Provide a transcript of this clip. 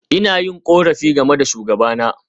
Ina yin korafi game da shugabana.